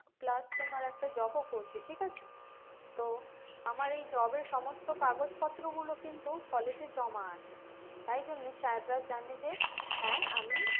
plus তোমার একটা job ও করছি ঠিক আছে তো আমার এই job এর সমস্ত কাগজপত্র গুলো কিন্তু college এ জমা আছে তাই জন্য sir রা জানে যে হ্যাঁ আমি